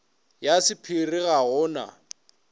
ya sapphire ga go na